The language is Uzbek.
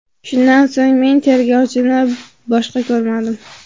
Shundan so‘ng men tergovchini boshqa ko‘rmadim”.